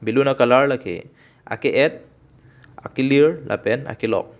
balloon colour lake a ki et a kilir lapen a kelok.